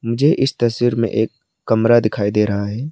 मुझे इस तस्वीर में एक कमरा दिखाई दे रहा है।